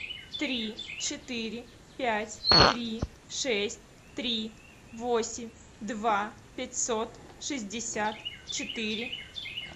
три четыре пять три шесть три восемь два пятьсот шестьдесят четыре